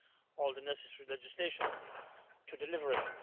all the necessary legislation to deliver it.